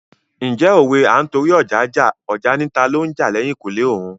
Ǹjẹ́ òwe "À ń torí ọja jà, ọja ni talo ń jà l'ẹ̀kùlé òun "?